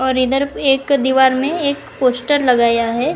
और इधर एक दीवार में एक पोस्टर लगाया है।